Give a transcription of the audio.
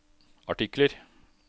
artikler